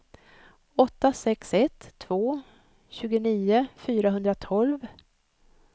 åtta sex ett två tjugonio fyrahundratolv